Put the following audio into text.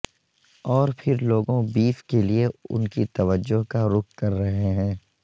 اور پھر لوگوں بیف کے لئے ان کی توجہ کا رخ کر رہے ہیں